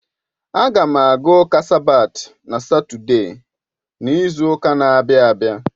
A ga m aga ụka sabat na Satọde n'izu ụka na-abịa.